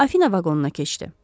Afina vaqonuna keçdi.